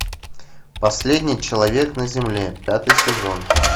последний человек на земле пятый сезон